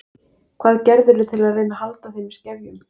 Hvað gerirðu til að reyna að halda þeim í skefjum?